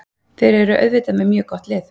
Þeir eru auðvitað með mjög gott lið.